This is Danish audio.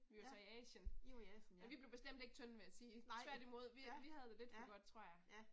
Vi var så i Asien og vi blev bestemt ikke tynde vil jeg sige. Tværtimod, vi vi havde det lidt for godt tror jeg